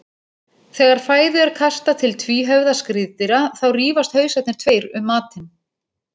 Þegar fæðu er kastað til tvíhöfða skriðdýra þá rífast hausarnir tveir um matinn.